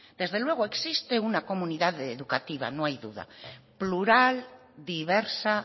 desde luego existe una comunidad educativa no hay duda plural diversa